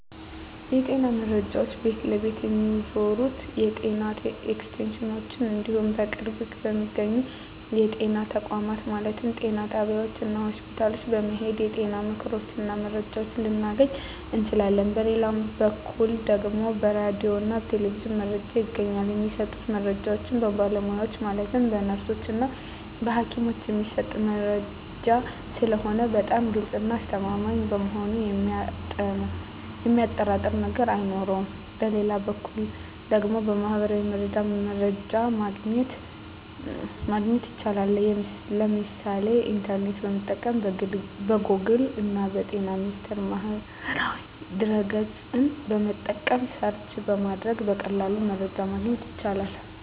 የጤና መረጃ ቤት ለቤት ከሚዞሩት የጤና ኤክስቴንሽኖች እንዲሁም በቅርብ በሚገኙ የጤና ተቋማት ማለትም ጤና ጣቢያዎች እና ሆስፒታል በመሔድ የጤና ምክሮችን እና መረጃዎችን ልናገኝ እንችላለን በሌላ በኩል ደግሞ በራዲዮ እና በቴሌቪዥንም መረጃ ይገኛል የሚሰጡት መረጃዎች በባለሙያዎች ማለትም በነርሶች እና በሀኪሞች የሚሰጥ መረጂ ስለሆነ በጣም ግልፅ እና አስተማማኝ በመሆኑ የሚያጠራጥር ነገር አይኖረውም በሌላ በኩል ደግሞ በሚህበራዊ ሚዲያ መረጃ ማግኘት ይቻላል የምሳሌ ኢንተርኔትን በመጠቀም ከጎግል እና በጤና ሚኒስቴር ማህበራዊ ድህረ ገፅን በመጠቀም ሰርች በማድረግ በቀላሉ መረጃን ማግኘት ይቻላል።